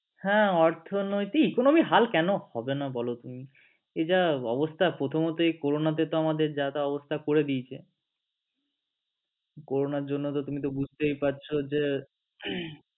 হ্যা অর্থনৈতিক economic হাল কেন হবে না বল তুমি এই যা অবস্থা প্রথমত এই করোনাতেতো আমাদের যাতা অবস্থা করে দিয়েছে করনার জন্য তুমি তো বুজতে পারছ যে